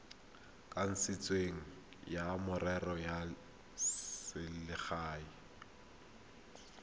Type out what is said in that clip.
kanisitsweng wa merero ya selegae